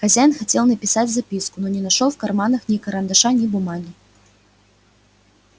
хозяин хотел написать записку но не нашёл в карманах ни карандаша ни бумаги